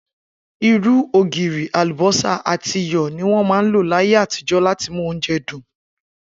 Irú, ògirì, àlùbó̩sà àti iyò̩ ni wó̩n ń lò láyé àtijó̩ láti mú oúnje̩ dùn